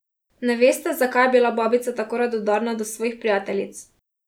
Ne veste, zakaj je bila babica tako radodarna do svojih prijateljic.